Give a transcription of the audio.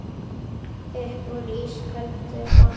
Upp úr ísköldu vatni?